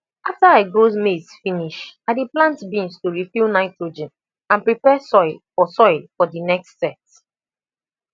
after i grow maize finish i dey plant beans to refill nitrogen and prepare soil for soil for the next set